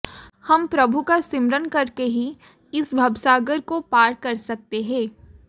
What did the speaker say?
हम प्रभू का सिमरन करके ही इस भवसागर को पार कर सकते हैं